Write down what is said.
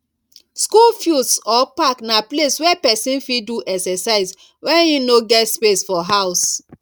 school fields or park na place wey persin fit do exercise when im no get space for house